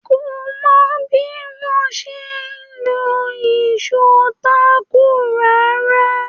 Kò mọ bí wọ́n ṣe ń lo ìṣó táàkù rárá.